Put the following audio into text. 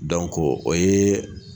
Dɔnko o ye